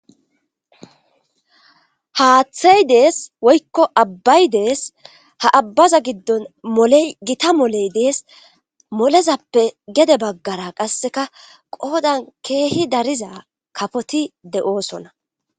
haaththey dees woykko abbay dees ha abbaza giddon moley gita moley dees molezappe gede baggara qasseka qoodan keehi dariza kafoti de7oosonna